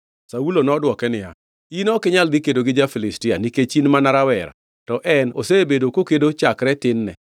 Saulo nodwoko niya, “In ok inyal dhi kedo gi ja-Filistia nikech in mana rawera, to en to osebedo kokedo chakre tin-ne.”